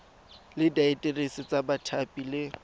le diaterese tsa bathapi le